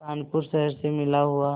कानपुर शहर से मिला हुआ